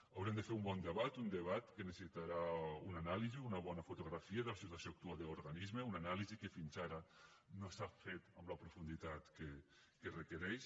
haurem de fer un bon debat un debat que necessitarà una anàlisi una bona fotografia de la situació actual de l’organisme una anàlisi que fins ara no s’ha fet amb la profunditat que requereix